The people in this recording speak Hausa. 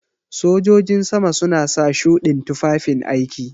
Sojojin sama suna sa shuɗin tufafin aiki.